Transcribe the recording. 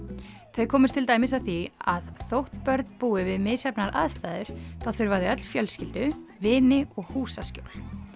þau komust til dæmis að því að þótt börn búi við misjafnar aðstæður þá þurfa þau öll fjölskyldu vini og húsaskjól